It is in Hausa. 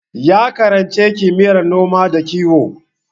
Ya karanci kimiyyar noma da kiwo.